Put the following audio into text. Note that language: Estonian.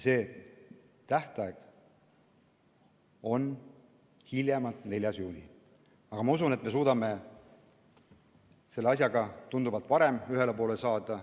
Tähtaeg on 4. juuni, aga ma usun, et me suudame selle asjaga tunduvalt varem ühele poole saada.